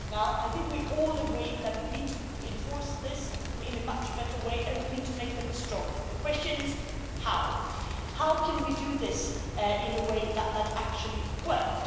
I think we all agree that we need to enforce this in a much better way and we need to make them stronger. The question is, how can we do this in a way that that actually works?